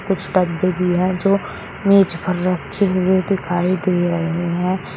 कुछ डब्बे भी है जो मेज पर रखे हुए दिखाई दे रहे हैं।